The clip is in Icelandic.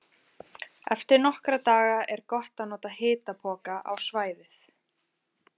Eftir nokkra daga er gott að nota hitapoka á svæðið.